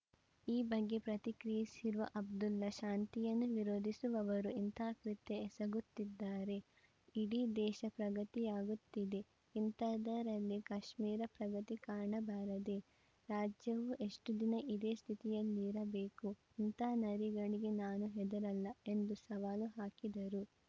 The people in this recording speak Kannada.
ಈ ಬಗ್ಗೆ ಪ್ರತಿಕ್ರಿಯಿಸಿರುವ ಅಬ್ದುಲ್ಲಾ ಶಾಂತಿಯನ್ನು ವಿರೋಧಿಸುವವರು ಇಂಥ ಕೃತ್ಯ ಎಸಗುತ್ತಿದ್ದಾರೆ ಇಡೀ ದೇಶ ಪ್ರಗತಿಯಾಗುತ್ತಿದೆ ಇಂಥದ್ದರಲ್ಲಿ ಕಾಶ್ಮೀರ ಪ್ರಗತಿ ಕಾಣಬಾರದೇ ರಾಜ್ಯವು ಎಷ್ಟುದಿನ ಇದೇ ಸ್ಥಿತಿಯಲ್ಲಿರಬೇಕು ಇಂಥ ನರಿಗಳಿಗೆ ನಾನು ಹೆದರಲ್ಲ ಎಂದು ಸವಾಲು ಹಾಕಿದರು